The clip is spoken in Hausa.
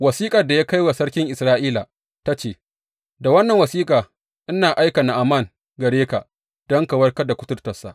Wasiƙar da ya kai wa sarkin Isra’ila ta ce, Da wannan wasiƙa ina aika Na’aman gare ka don ka warkar da kuturtarsa.